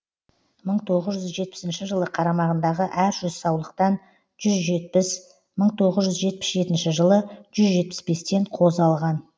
мың тоғыз жүз жетпісінші жылы қарамағындағы әр жүз саулықтан жүз жетпіс мың тоғыз жүз жетпіс жетінші жылы жүз жетпіс бестен қозы алған